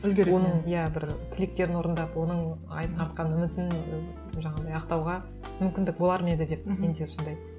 иә бір тілектерін орындап оның артқан үмітін жаңағындай ақтауға мүмкіндік болар ма еді деп менде сондай